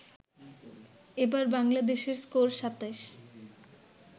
এবার বাংলাদেশের স্কোর ২৭